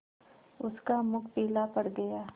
उसका मुख पीला पड़ गया